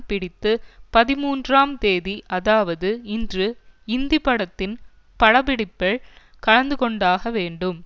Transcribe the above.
பிடித்து பதிமூன்றாம் தேதி அதாவது இன்று இந்தி படத்தின் பட பிடிப்பில் கலந்து கொண்டாக வேண்டும்